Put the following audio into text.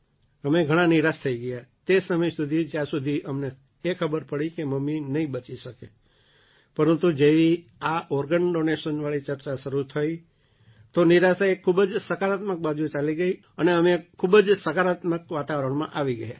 અમે ઘણા નિરાશ થઈ ગયા તે સમય સુધી જ્યાં સુધી અમને એ ખબર પડી કે મમ્મી નહીં બચી શકે પરંતુ જેવી આ ઑર્ગન ડૉનેશનવાળી ચર્ચા શરૂ થઈ તો નિરાશા એક ખૂબ જ સકારાત્મક બાજુ ચાલી ગઈ અને અમે ઘણા એક ખૂબ જ સકારાત્મક વાતાવરણમાં આવી ગયા